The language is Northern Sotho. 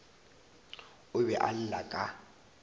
o be a lla ka